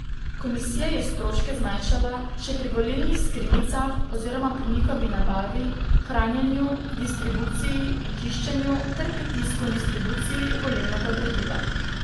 Komisija je stroške zmanjšala še pri volilnih skrinjicah oziroma pri njihovi nabavi, hranjenju, distribuciji in čiščenju ter pri tisku in distribuciji volilnega gradiva.